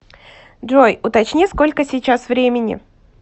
джой уточни сколько сейчас времени